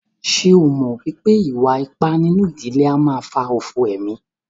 Ṣé ẹ mọ̀ wípé ìwà ipá nínú ìdílé a máà fà òfò emí?